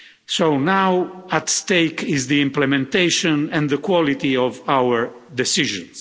So now at stake is the implementation and the quality of our decisions.